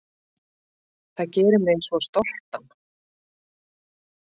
Það gerir mig svo stoltan.